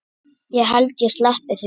Ég held ég sleppi því.